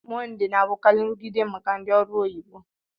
Mọndé na-abụkarị nrụgide maka ndị ọrụ oyibo